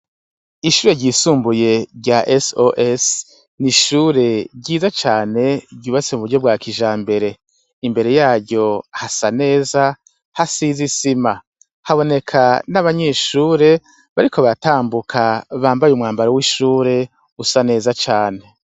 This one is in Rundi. Ishure ryisumbuye rya s os ni ishure ryiza cane ryubase mu buryo bwa kija mbere imbere yaryo hasa neza ha sizisima haboneka n'abanyeshure bariko batambuka bambaye umwambaro w'ishure usa neza cane.